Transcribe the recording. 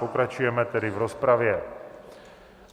Pokračujeme tedy v rozpravě.